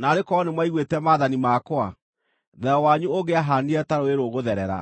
Naarĩ korwo nĩmwaiguĩte maathani makwa, thayũ wanyu ũngĩahaanire ta rũũĩ rũgũtherera,